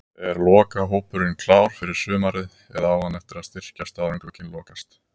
Er lokahópurinn klár fyrir sumarið eða á hann eftir að styrkjast áður en glugginn lokast?